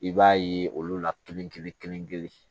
I b'a ye olu la kelen kelen kelen kelen